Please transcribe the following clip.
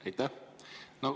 Aitäh!